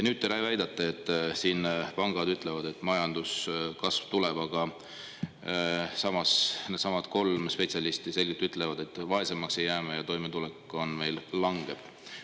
Teie väidate, et pangad ütlevad, et majanduskasv tuleb, aga samas needsamad kolm spetsialisti ütlevad selgelt, et me jääme vaesemaks ja toimetuleku langeb.